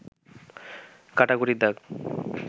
কাটাকুটির দাগ